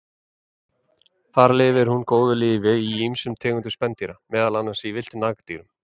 Þar lifir hún góðu lífi í ýmsum tegundum spendýra, meðal annars í villtum nagdýrum.